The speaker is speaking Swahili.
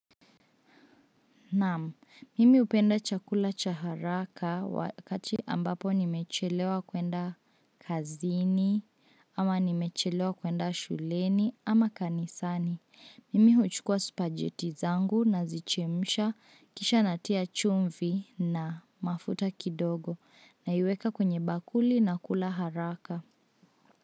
Naam, mimi hupenda chakula cha haraka wakati ambapo nimechelewa kuenda kazini ama nimechelewa kuenda shuleni ama kanisani. Mimi huchukua spajeti zangu, nazichemsha kisha natia chumvi na mafuta kidogo, naiweka kwenye bakuli nakula haraka.